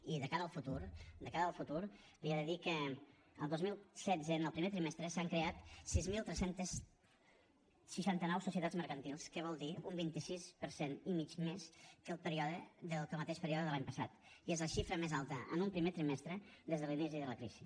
i de cara al futur de cara al futur li he de dir que el dos mil setze en el primer trimestre s’han creat sis mil tres cents i seixanta nou societats mercantils que vol dir un vint sis per cent i mig més que el mateix període de l’any passat i és la xifra més alta en un primer trimestre des de l’inici de la crisi